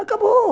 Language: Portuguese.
Acabou.